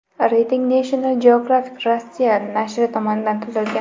Reyting National Geographic Russia nashri tomonidan tuzilgan .